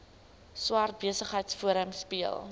swart besigheidsforum speel